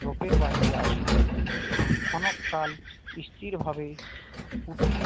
ঝোপের বাহিরে আসিল ভাবে ক্ষণকাল স্থিরভাবে কুটিল